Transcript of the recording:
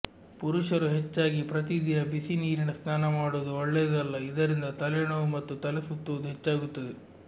ಪುರುಷರು ಹೆಚ್ಚಾಗಿ ಪ್ರತಿದಿನ ಬಿಸಿನೀರಿನ ಸ್ನಾನ ಮಾಡುವುದು ಒಳ್ಳೇದಲ್ಲ ಇದರಿಂದ ತಲೆ ನೋವು ಮತ್ತು ತಲೆಸುತ್ತುವುದು ಹೆಚ್ಚಾಗುತ್ತದೆ